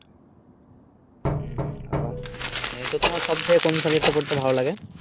উম ওহ হ্যা তো তোমার সব জায়গায় কোন সাবজেক্ট টা পড়তে ভালো লাগে?